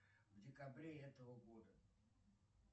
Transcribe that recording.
в декабре этого года